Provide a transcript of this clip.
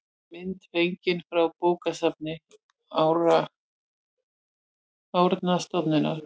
mynd fengin frá bókasafni árnastofnunar